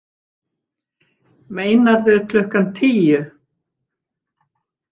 Meinarðu klukkan tíu?